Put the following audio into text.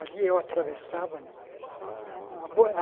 Ali eu atravessava né ah ah ah bo ah.